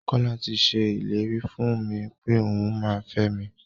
Kọ́la ti ṣe ìlérí fún mi pẹ́ òun máa fẹ mi.